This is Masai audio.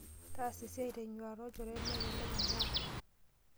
Taasa esiai tenyuata olchore melelek imbaa.